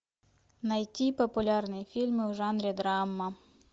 найти популярные фильмы в жанре драма